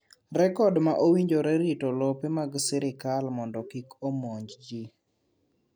Rekod ma owinjore rito lope mag sirkal mondo kik omonjgi.